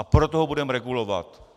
A proto ho budeme regulovat?